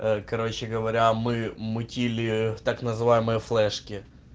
короче говоря мы мутили так называемые флешки